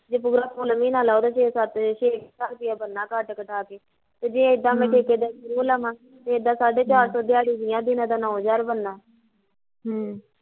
ਜੇ ਪੂਰਾ ਫੁੱਲ ਮਹੀਨਾ ਲਓ ਤਾਂ ਛੇ ਛੇ ਸੱਤ ਹਜ਼ਾਰ ਬਣਨਾ ਕੱਟ ਕਟਾ ਕੇ ਤੇ ਜੇ ਏਦਾਂ ਮੈਂ ਠੇਕੇਦਾਰ through ਲਵਾਂ, ਏਦਾਂ ਸਾਢੇ ਚਾਰ ਸੋ ਦਿਆੜੀ ਮਿਲਣੀ ਦਿਨਾਂ ਦਾ ਨੋਂ ਹਜ਼ਾਰ ਬਣਨਾ ਹਮ